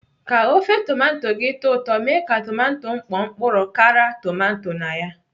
Ka ofe tomato gị tọọ ụtọ, mee ka tomato mkpọ mkpụrụ kara tomato na ya.